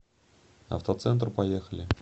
автоцентр поехали